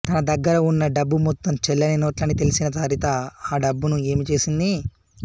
తన దగ్గర ఉన్న డబ్బు మొత్తం చెల్లని నోట్లని తెల్సిన సరిత ఆ డబ్బును ఏమి చేసింది